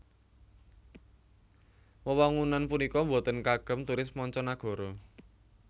Wewangunan punika boten kagem turis mancanagara